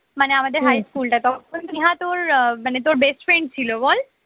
মানে আমাদের high স্কুলটা তখন নেহা তোর আহ মানে তোর best friend ছিল বল